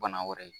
Bana wɛrɛ ye